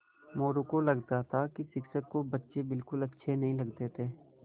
मोरू को लगता था कि शिक्षक को बच्चे बिलकुल अच्छे नहीं लगते थे